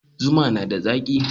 Zuma na da zaki.